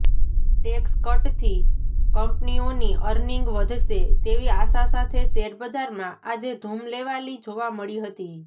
tax કટથી કંપનીઓની earning વધશે તેવી આશા સાથે શેરબજારમાં આજે ધૂમ લેવાલી જોવા મળી હતી